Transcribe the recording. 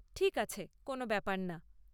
ঠিক আছে, কোনও ব্যাপার না।